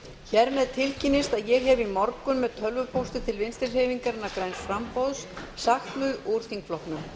hér með tilkynnist að ég hef í morgun með tölvupósti til vinstri hreyfingarinnar græns framboðs sagt mig úr þingflokknum